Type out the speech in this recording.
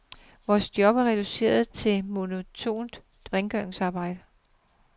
Vores job er reduceret til monotont rengøringsarbejde.